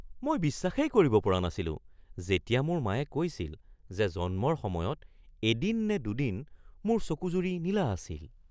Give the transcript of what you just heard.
মই বিশ্বাসেই কৰিব পৰা নাছিলোঁ যেতিয়া মোৰ মায়ে কৈছিল যে জন্মৰ সময়ত এদিন নে দুদিন মোৰ চকুযুৰি নীলা আছিল।